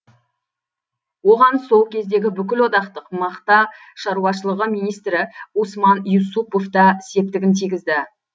оған сол кездегі бүкілодақтық мақта шаруашылығы министрі усман юсупов та септігін тигізді